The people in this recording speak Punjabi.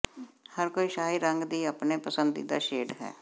ਹਰ ਕੋਈ ਸ਼ਾਹੀ ਰੰਗ ਦੀ ਆਪਣੇ ਪਸੰਦੀਦਾ ਸ਼ੇਡ ਹੈ